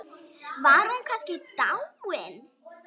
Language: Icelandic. Var hún kannski dáin?